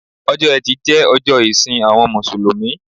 Ọjọ́ etí jẹ́ ọjọ́ ìsìn àwọn Mùsùlùmí